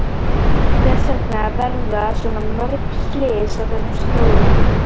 Hvers vegna verða svona mörg slys á þessum slóðum?